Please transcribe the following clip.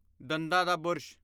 ਦੰਦਾਂ ਦਾ ਬੁਰਸ਼